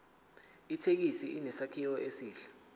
ithekisi inesakhiwo esihle